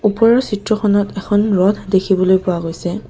ওপৰৰ চিত্ৰখনত এখন ৰথ দেখিবলৈ পোৱা গৈছে।